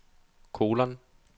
kolon